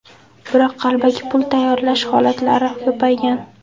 Biroq qalbaki pul tayyorlash holatlari ko‘paygan.